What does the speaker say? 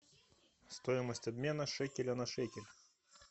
стоимость обмена шекеля на шекель